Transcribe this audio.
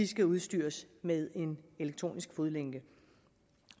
skal udstyres med en elektronisk fodlænke